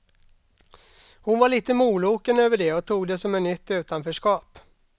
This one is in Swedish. Hon var litet moloken över det och tog det som ett nytt utanförskap.